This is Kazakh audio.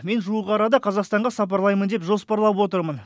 мен жуық арада қазақстанға сапарлаймын деп жоспарлап отырмын